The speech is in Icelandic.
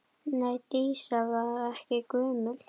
Nei, Dísa var ekki gömul.